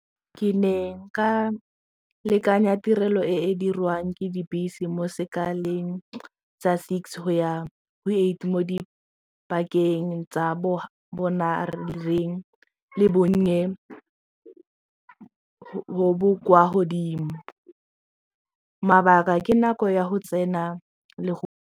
Ke ne ka lekanya tirelo e e dirwang ke dibese mo sekaleng tsa six go ya go eight mo dipakeng tsa bonareng le bonnye bo bo kwa godimo mabaka ke nako ya go tsena le .